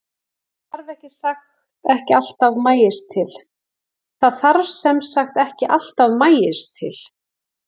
Það þarf sem sagt ekki alltaf maís til.